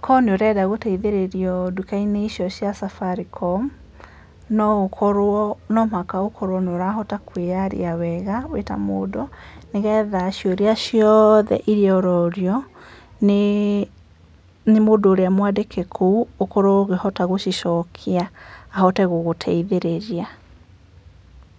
angĩkorwo nĩ ũrenda gũteithĩrĩrio nduka-inĩ icio cia Safaricom, no mũhaka ũkorwo nĩ ũrahota kwĩyaria wega wĩta mũndũ, nĩgetha ciũria iria ciothe ũrorio nĩ mũndũ ũrĩa mwandĩke kũu ũhote gũkorwo gũcicokia ahote gũgũteithĩrĩria.